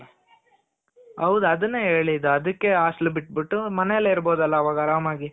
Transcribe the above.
ಹೌದು ಅದುನ್ನೇ ಹೇಳಿದ್ದು. ಅದುಕ್ಕೆ hostel ಬಿಟ್ಟು ಬಿಟ್ಟು ಮನೇಲೆ ಇರ್ಬೊದಲ ಅವಗ ಆರಾಮಾಗಿ